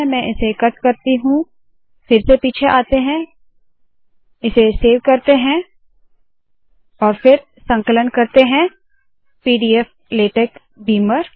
मैं इसे कट करती हूँ फिर से पीछे आते है इसे सेव करते है और फिर संकलन करते है - पीडीएफ लेटेक बीमर